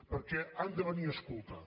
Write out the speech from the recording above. perquè han de venir a escoltar